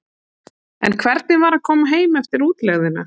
En hvernig var að koma heim eftir útlegðina?